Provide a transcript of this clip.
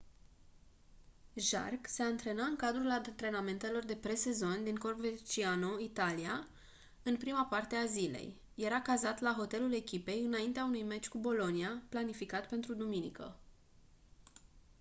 jarque se antrena în cadrul antrenamentelor de pre-sezon la coverciano în italia în prima parte a zilei era cazat la hotelul echipei înaintea unui meci cu bologna planificat pentru duminică